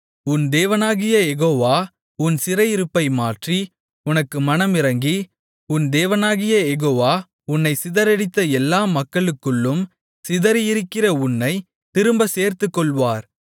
உன் தேவனாகிய யெகோவா உன் சிறையிருப்பை மாற்றி உனக்கு மனமிரங்கி உன் தேவனாகிய யெகோவா உன்னைச் சிதறடித்த எல்லா மக்களுக்குள்ளும் சிதறியிருக்கிற உன்னைத் திரும்பச் சேர்த்துக்கொள்வார்